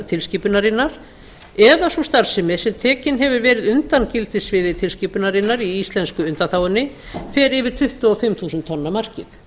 tilskipunarinnar eða sú starfsemi sem tekin hefur verið undan gildissviði tilskipunarinnar í íslensku undanþágunni fer yfir tuttugu og fimm þúsund tonna markið